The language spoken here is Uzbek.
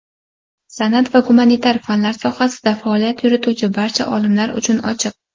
san’at va gumanitar fanlar sohasida faoliyat yurituvchi barcha olimlar uchun ochiq.